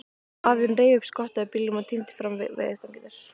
Afinn reif upp skottið á bílnum og tíndi fram veiðistangir.